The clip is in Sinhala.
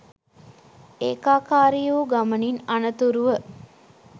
ඒකාකාරී වූ ගමනින් අනතුරුව